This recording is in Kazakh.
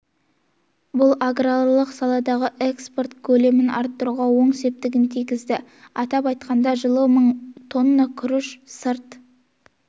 бұл аграрлық саладағы экспорт көлемін арттыруға оң септігін тигізді атап айтқанда жылы мың тонна күріш сырт